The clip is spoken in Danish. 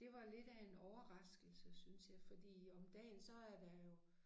Det var lidt af en overraskelse syntes jeg fordi om dagen så er der jo